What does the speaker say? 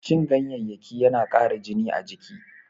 Cin ganyayyaki yana ƙara jini a jiki.